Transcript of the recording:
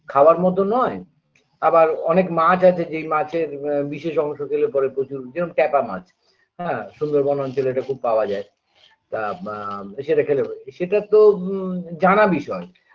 খাবার মতো নয় আবার অনেক মাছ আছে যেই মাছের ব বিশেষ অংশ খেলে পরে প্রচুর যেমন ট্যাপা মাছ হ্যাঁ সুন্দরবন অঞ্চলে এটা খুব পাওয়া যায় তা বা সেটা খেলে হয়ে সেটাতো ম জানা বিষয়